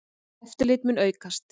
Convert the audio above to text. Eftirlit mun aukast.